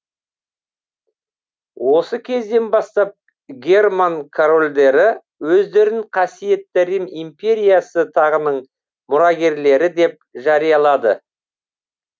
осы кезден бастап герман корольдері өздерін қасиетті рим империясы тағының мұрагерлері деп жариялады